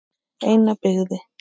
Eina byggði